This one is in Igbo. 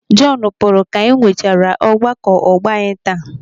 Jọnu pụrụ ka anyị nwechaara ọgbakọ ọgbọ anyị taa.